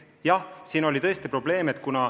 Jah, see on tõesti probleem.